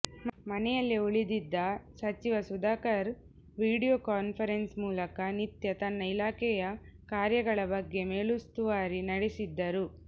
ಮನೆಯಲ್ಲೇ ಉಳಿದಿದ್ದ ಸಚಿವ ಸುಧಾಕರ್ ವೀಡಿಯೋ ಕಾನ್ಫರೆನ್ಸ್ ಮೂಲಕ ನಿತ್ಯ ತನ್ನ ಇಲಾಖೆಯ ಕಾರ್ಯಗಳ ಬಗ್ಗೆ ಮೇಲುಸ್ತುವಾರಿ ನಡೆಸಿದ್ದರು